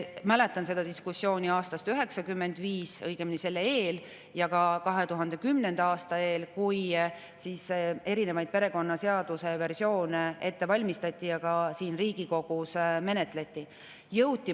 Mäletan seda diskussiooni aastast 1995, õigemini selle eel, ja ka 2010. aasta eel, kui perekonnaseaduse versioone ette valmistati ja ka siin Riigikogus menetleti.